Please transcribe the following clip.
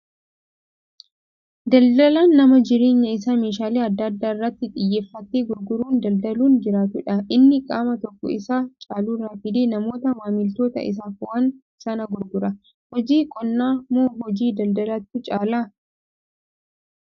Daldalaan nama jireenya isaa meeshaalee adda addaa irratti xiyyeeffatee gurguru daldlauun jiraatudha. Inni qaama tokko isa caalurraa fidee namoota maamiloota isaaf waan sana gurgura. Hojii qonnaa moo hojii daldalaatu caalaa?